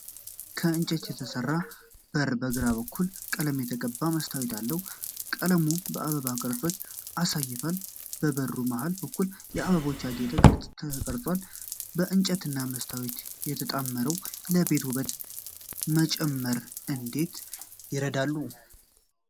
ከእንጨት የተሠራው በር በግራ በኩል ቀለም የተቀባ መስታወት አለው፤ ቀለሙ የአበባ ቅርጾችን አሳይቷል። በበሩ መሀል በኩል በአበቦች ያጌጠ ቅርፅ ተቀርጿል። እንጨትና መስታወት ተጣምረው ለቤቶች ውበት መጨመር እንዴት ይረዳሉ?